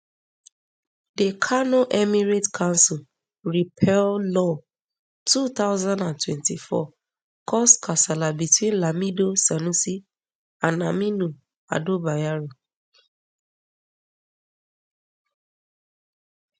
di kano emirates council repeal law two thousand and twenty-four cause kasala between lamido sanusiand aminu ado bayero